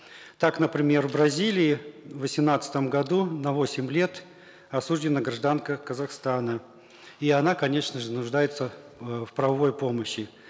так например в бразилии в восемнадцатом году на восемь лет осуждена гражданка казахстана и она конечно же нуждается э в правовой помощи